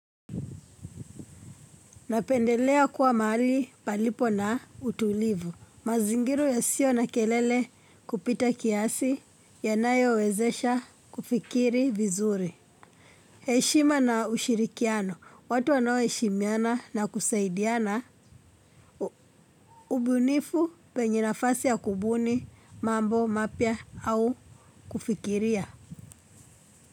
Napendelea kuwa mahali palipo na utulivu. Mazingira ya sio na kelele kupita kiasi yanayo wezesha kufikiri vizuri. Heshima na ushirikiano. Watu wanao heshimiana na kusaidiana. Ubunifu penye nafasi ya kubuni, mambo, mapya au kufikiria.